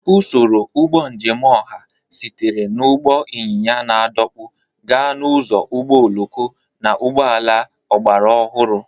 Usoro ụgbọ njem ọha sitere na ụgbọ ịnyịnya na-adọkpụ gaa n'ụzọ ụgbọ oloko na ụgbọ ala ọgbara ọhụrụ.